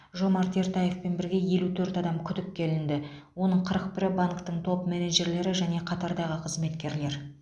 жомарт ертаевпен бірге елу төрт адам күдікке ілінді оның қырық бірі банктің топ менеджерлері және қатардағы қызметкерлер